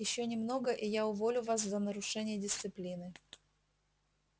ещё немного и я уволю вас за нарушение дисциплины